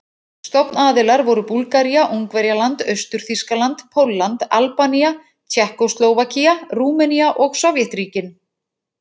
Stofnaðilar voru Búlgaría, Ungverjaland, Austur-Þýskaland, Pólland, Albanía, Tékkóslóvakía, Rúmenía og Sovétríkin.